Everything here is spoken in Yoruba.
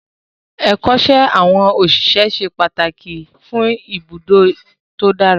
Ẹ̀kọ́ṣẹ́ àwọn òṣìṣẹ́ ṣe pàtàkì fún iṣẹ́ ibùdó tó dára